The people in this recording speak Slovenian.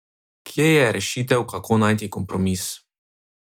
Kje je rešitev, kako najti kompromis?